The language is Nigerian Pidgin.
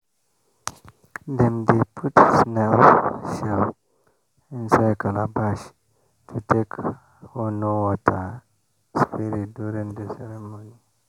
dem dey put snail shell inside calabash to take honour water spirit during the ceremony.